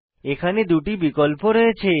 এখানে দুটি বিকল্প রয়েছে